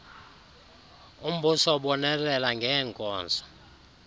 umbuso ubonelela ngeenkonzo